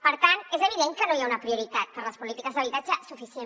per tant és evident que no hi ha una prioritat per a les polítiques d’habitatge suficient